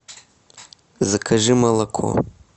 закажи молоко